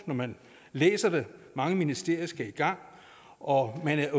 når man læser det mange ministerier skal i gang og man er